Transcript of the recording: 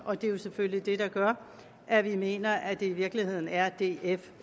og det er jo selvfølgelig det der gør at vi mener at det i virkeligheden er df